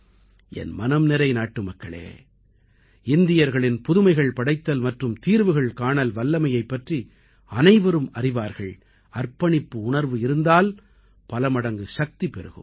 என் மனம் நிறை நாட்டுமக்களே இந்தியர்களின் புதுமைகள் படைத்தல் மற்றும் தீர்வுகள் காணல் வல்லமையைப் பற்றி அனைவரும் அறிவார்கள் அர்ப்பணிப்பு உணர்வு இருந்தால் பலமடங்கு சக்தி பெருகும்